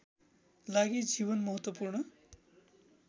लागि जीवन महत्त्वपूर्ण